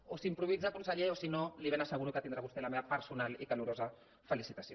o s’improvisa conseller o si no li ben asseguro que tindrà vostè la meva personal i calorosa felicitació